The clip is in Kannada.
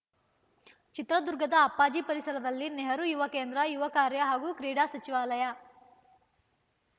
ಚಿತ್ರದುರ್ಗದ ಅಪ್ಪಾಜಿ ಪರಿಸರದಲ್ಲಿ ನೆಹರು ಯುವ ಕೇಂದ್ರ ಯುವ ಕಾರ್ಯ ಹಾಗೂ ಕ್ರೀಡಾ ಸಚಿವಾಲಯ